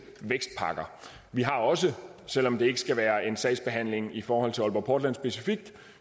vækstpakker vi har også selv om det ikke skal være en sagsbehandling i forhold til aalborg portland specifikt